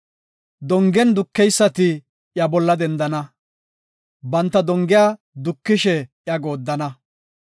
Dongen dukeysati iya bolla dendana; banta dongiyan dukishe iya gooddana.